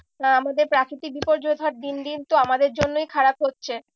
আহ আমাদের প্রাকৃতিক বিপর্যয় ধর দিন দিন তো আমাদের জন্যই খারাপ হচ্ছে।